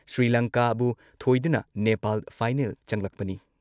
ꯁ꯭ꯔꯤꯂꯪꯀꯥꯕꯨ ꯊꯣꯏꯗꯨꯅ ꯅꯦꯄꯥꯜ ꯐꯥꯏꯅꯦꯜ ꯆꯪꯂꯛꯄꯅꯤ ꯫